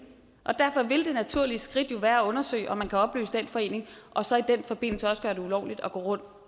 og derfor vil det naturlige skridt jo være at undersøge om man kan opløse den forening og så i den forbindelse også gøre det ulovligt at gå rundt